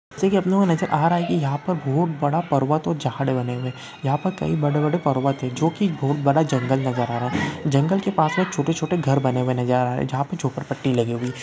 जेसे को अपने को नज़र आ रहा है कि यहाँ पर बहुत बड़ा पर्वत और झाड़ बने हुए हैं यहाँ पर कई बड़े-बड़े पर्वत हैं जो की बहुत बड़ा जंगल नज़र आ रहा है जंगल के पास में छोटे-छोटे घर बने हुए नजर आ रहें हैं जहाँ पे झोपड़पट्टी लगी हुई है।